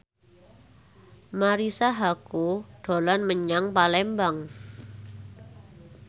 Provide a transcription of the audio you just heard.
Marisa Haque dolan menyang Palembang